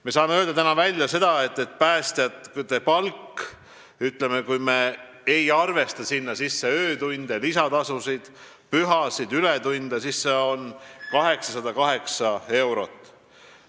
Me saame öelda, et päästjate palk, kui me ei arvesta sinna sisse öötöötasu, lisatasusid, tasu pühade ajal töötamise eest ega ületunde, siis see on 808 eurot.